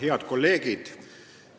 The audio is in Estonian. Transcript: Head kolleegid!